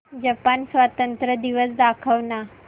Japan स्वातंत्र्य दिवस दाखव ना